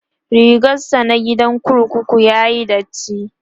rigarsa na gidan kurkuku yayi datti